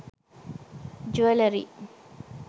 jewellery